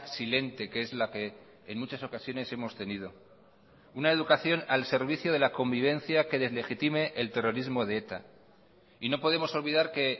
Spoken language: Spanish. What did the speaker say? silente que es la que en muchas ocasiones hemos tenido una educación al servicio de la convivencia que deslegitime el terrorismo de eta y no podemos olvidar que